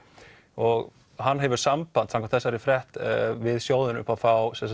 og hann hefur samband samkvæmt þessari frétt við sjóðinn upp á að fá